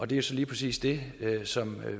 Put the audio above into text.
det er så lige præcis det som